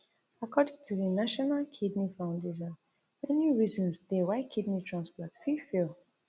according to thenational kidney foundation many reasons dey why kidney transplant fit fail